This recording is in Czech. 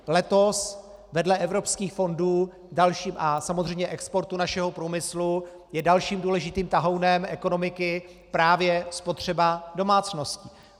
Letos vedle evropských fondů a samozřejmě exportu našeho průmyslu je dalším důležitým tahounem ekonomiky právě spotřeba domácností.